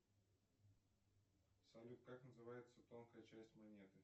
салют как называется тонкая часть монеты